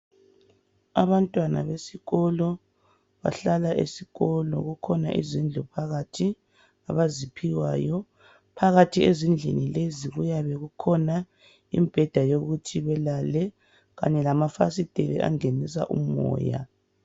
Abantwana besikolo bahlala esikolo njalo zikhona izindlu phakathi abaziphiwayo. Phakathi kwezindlini lezi kukhona imbheda yokuthi belale njalo lamafasiteli angenisa umoya